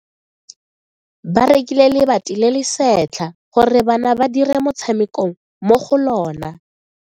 Ba rekile lebati le le setlha gore bana ba dire motshameko mo go lona.